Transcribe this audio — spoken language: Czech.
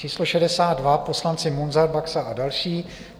Číslo 62 - poslanci Munzar, Baxa a další.